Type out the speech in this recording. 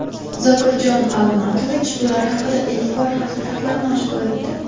Zokirjon Almatovich bular haqida ilk bor haqiqatlarni oshkor etdi.